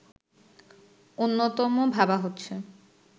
অন্যতম ভাবা হচ্ছে